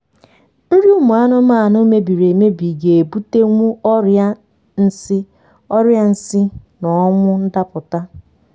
nri ụmụ anụmanụ mebiri emebi ga ebutewu ọria nsi ọria nsi na ọnwụ ndapụta